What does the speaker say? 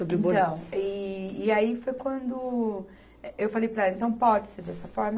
Então, e e aí foi quando eu falei para ela, então pode ser dessa forma?